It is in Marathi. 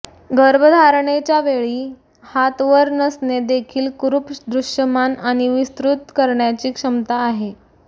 गर्भधारणेच्या वेळी हात वर नसणे देखील कुरुप दृश्यमान आणि विस्तृत करण्याची क्षमता आहे